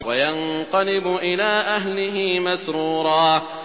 وَيَنقَلِبُ إِلَىٰ أَهْلِهِ مَسْرُورًا